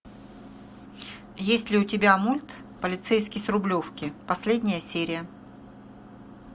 есть ли у тебя мульт полицейский с рублевки последняя серия